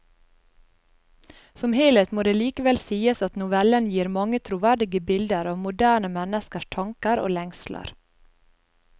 Som helhet må det likevel sies at novellene gir mange troverdige bilder av moderne menneskers tanker og lengsler.